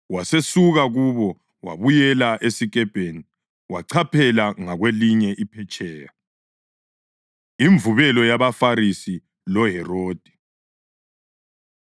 Wasesuka kubo wabuyela esikepeni wachaphela ngakwelinye iphetsheya. Imvubelo YabaFarisi LoHerodi